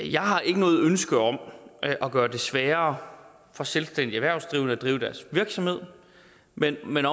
jeg har ikke noget ønske om at gøre det sværere for selvstændigt erhvervsdrivende at drive deres virksomhed men men